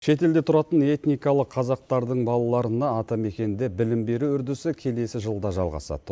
шет елде тұратын этникалық қазақтардың балаларына атамекенде білім беру үрдісі келесі жылда жалғасады